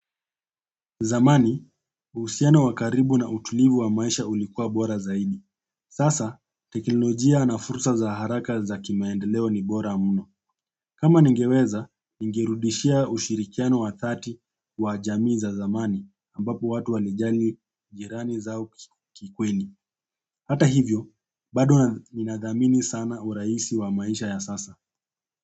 Zamani, uhusiano wa karibu na utulivu wa maisha ulikuwa bora zaidi. Sasa, teknolojia na fursa za haraka za kimaendeleo ni bora mno. Kama ningeweza, ningerudishia ushirikiano wa dhaati wa jamii za zamani ambapo watu walijali jirani zao kikweli. Hata hivyo, bado ninadhamini sana urahisi wa maisha ya sasa.